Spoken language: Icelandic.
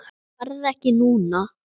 Farðu ekki núna!